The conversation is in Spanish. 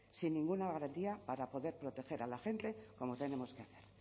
sin ninguna garantía para poder proteger a la gente como tenemos que hacer